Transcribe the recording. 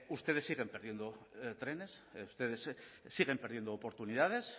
ustedes siguen perdiendo trenes ustedes siguen perdiendo oportunidades